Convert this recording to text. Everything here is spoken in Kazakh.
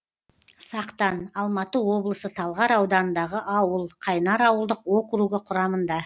сақтан алматы облысы талғар ауданындағы ауыл қайнар ауылдық округі құрамында